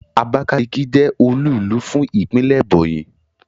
Abakaliki je olúùlú fún Ìpínlẹ̀ Ebonyi